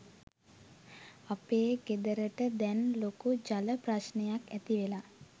අපේ ගෙදරට දැන් ලොකු ජල ප්‍රශ්නයක්‌ ඇතිවෙලා